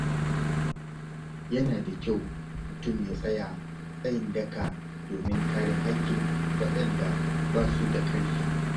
Yana da kyau mutum ya tsaya tsayin daka domin kare haƙƙin waɗanda ba su da ƙarfi.